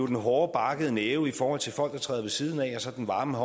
den hårde barkede næve i forhold til folk der træder ved siden af og så den varme